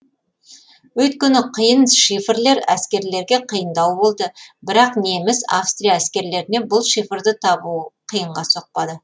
өйткені қиын шифрлер әскерлерге қиындау болды бірақ неміс австрия әскерлеріне бұл шифрды табу қиынға соқпады